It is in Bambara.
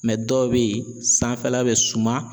dɔw bɛ yen sanfɛla bɛ suma